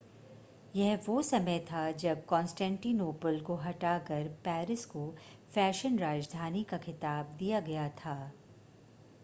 यह वो समय था जब कॉन्स्टेंटिनोपल को हटाकर पेरिस को फैशन राजधानी का खिताब दिया गया था